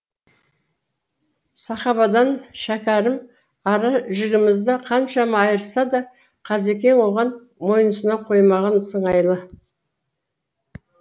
сахабадан шәкәрім ара жігімізді қаншама айырса да қазекең оған мойынсұна қоймаған сыңайлы